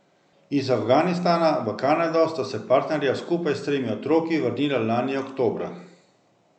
Iz Afganistana v Kanado sta se partnerja skupaj s tremi otroki vrnila lani oktobra.